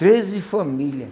Treze família.